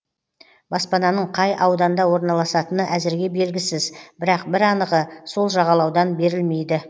баспананың қай ауданда орналасатыны әзірге белгісіз бірақ бір анығы сол жағалаудан берілмейді